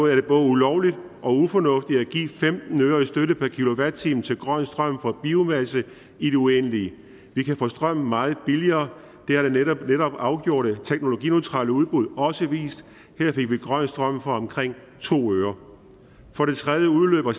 er det både ulovligt og ufornuftigt at give femten øre i støtte per kilowatt time til grøn strøm fra biomasse i det uendelige vi kan få strøm meget billigere det har det netop afgjorte teknologineutrale udbud også vist her fik vi grøn strøm for omkring to øre for det tredje udløber